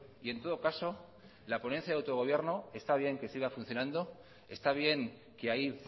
y en todo caso la ponencia de autogobierno está bien que siga funcionando está bien que ahí